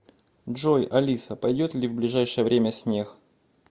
джой алиса пойдет ли в ближайшее время снег